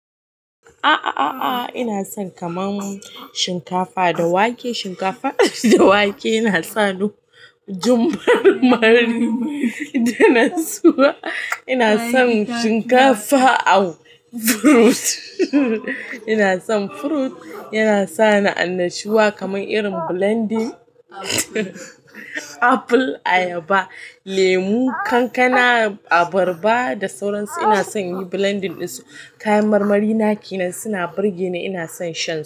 A'a, a'a, a'a ina son kamar shinkafa da wake. Shinkafa da wake yana sa ni jin marmari da nutsuwa. Ina son shinkafa da furut. Ina son furut, yana sa ni annashuwa kamar irin blending apple, ayaba, lemu, kankana, abarba da sauran su. Ina son in yi blending ɗin su. Kayan marmari naki nan suna birge ni, ina son sha.